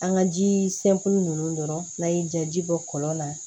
An ka ji ninnu dɔrɔn n'a ye jaji bɔ kɔlɔn la